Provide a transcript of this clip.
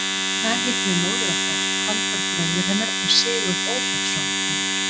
Þar hittum við móður okkar, Halldór bróður hennar og Sigurð Ófeigsson úr